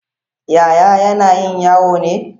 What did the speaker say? Yaya yanayin yau ne?